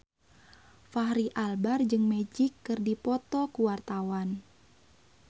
Fachri Albar jeung Magic keur dipoto ku wartawan